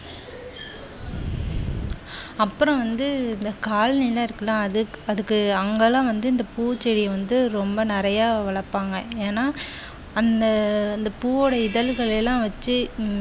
அப்புறம் வந்து இந்த காலனிலா இருக்கு இல்லையா அதற்கு எல்லாம் அங்கே எல்லாம் பூ செடிய ரொம்ப நிறைய வளர்ப்பாங்க ஏன்னா அந்த அந்த பூவுடைய இதழ்கள் எல்லாம் வச்சு